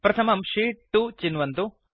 प्रथमं शीत् 2 चिन्वन्तु